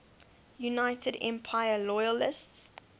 united empire loyalists